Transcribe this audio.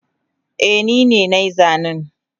Eh nine nai zanen